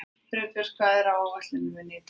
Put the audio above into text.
Friðbjört, hvað er á áætluninni minni í dag?